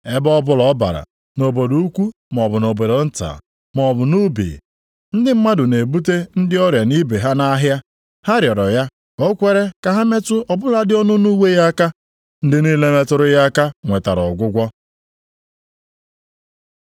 Ebe ọbụla ọ bara, nʼobodo ukwu maọbụ na obodo nta, maọbụ nʼubi, ndị mmadụ na-ebute ndị ọrịa nibe ha nʼahịa. Ha rịọrọ ya ka o kwere ka ha metụ ọ bụladị ọnụnụ uwe ya aka; ndị niile metụrụ ya aka nwetara ọgwụgwọ.